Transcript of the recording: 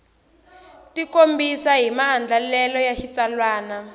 tikombisa hi maandlalelo ya xitsalwana